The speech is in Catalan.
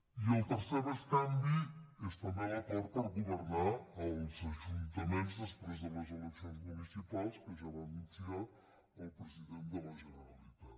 i el tercer bescanvi és també l’acord per governar als ajuntaments després de les eleccions municipals que ja va anunciar el president de la generalitat